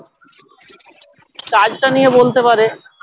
কাজটা নিয়ে বলতে পারে